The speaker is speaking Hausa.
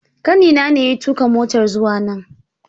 Kanina ne ya tuka motar zuwa nan